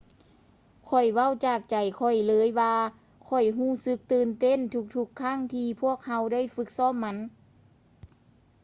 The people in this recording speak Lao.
ຂ້ອຍເວົ້າຈາກໃຈຂ້ອຍເລີຍວ່າຂ້ອຍຮູ້ສຶກຕື່ນເຕັ້ນທຸກໆຄັ້ງທີ່ພວກເຮົາໄດ້ຝຶກຊ້ອມມັນ